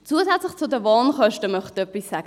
Zusätzlich möchte ich etwas zu den Wohnkosten sagen: